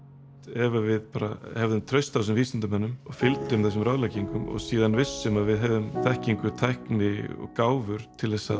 ef að við bara hefðum traust á þessum vísindamönnum og fylgjum þessum ráðleggingum og síðan vissum að við hefðum þekkingu tækni og gáfur til þess að